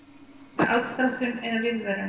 Var það aðdróttun eða viðvörun?